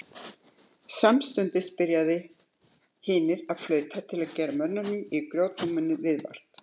Samstundis byrjuðu hinir að flauta til að gera mönnunum í grjótnáminu viðvart.